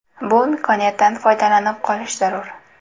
Bu imkoniyatdan foydalanib qolish zarur!